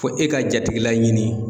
Fɔ e ka jatigila ɲini